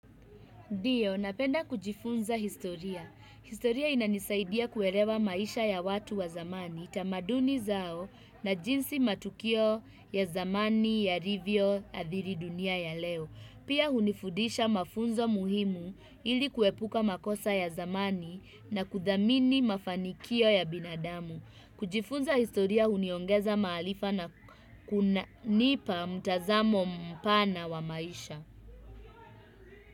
Ndio, napenda kujifunza historia. Historia inanisaidia kuelewa maisha ya watu wa zamani, tamaduni zao na jinsi matukio ya zamani yalivyo adhiri dunia ya leo. Pia hunifudisha mafunzo muhimu ili kuepuka makosa ya zamani na kudhamini mafanikio ya binadamu. Kujifunza historia huniongeza maarifa na kunipa mtazamo mpana wa maisha.